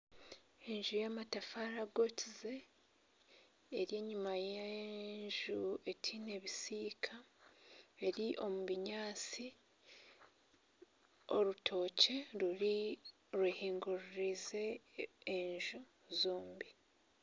Enju y'amatafaari agookize eri enyuma y'enju etaine bisiika, eri omu binyaatsi, orutookye rwehinguririze enju zombi